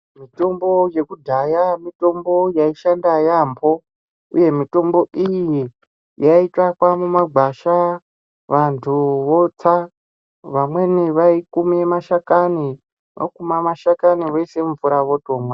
Mitombo yekudhaya, mitombo yayishanda yambo, uye mitombo iyiye yayitsvakwa mumagwasha. Vantu votsa, vamweni vayikume mashakani voyise mvura votomwa.